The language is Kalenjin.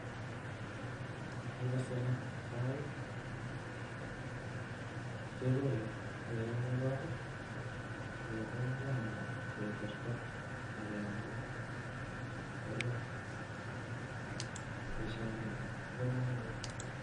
En kasari en kasari kekole ak yekakekol yechang'a kealda aketorto akeam alak eng' kurkat, boishoni kobokomonut.